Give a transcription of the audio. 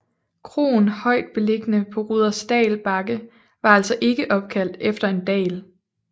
Kroen højt beliggende på Rudersdal Bakke var altså ikke opkaldt efter en dal